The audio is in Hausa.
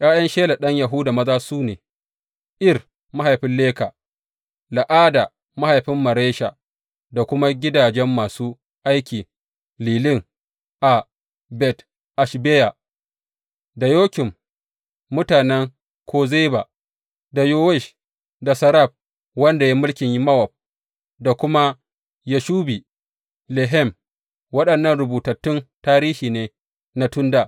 ’Ya’yan Shela ɗan Yahuda maza su ne, Er mahaifin Leka, La’ada mahaifin Maresha da kuma gidajen masu aikin lilin a Bet Ashbeya, da Yokim, mutanen Kozeba, da Yowash da Saraf wanda ya yi mulkin Mowab da kuma Yashubi Lehem Waɗannan rubutattun tarihi ne na tun dā.